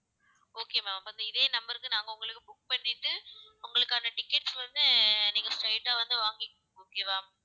okay ma'am அப்ப இதே number க்கு நாங்க உங்களுக்கு book பண்ணிட்டு, உங்களுக்கான tickets வந்து ஆஹ் நீங்க straight ஆ வந்து, வாங்கிங்க okay வா